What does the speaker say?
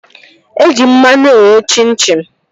Eji mmanụ eghe chim chim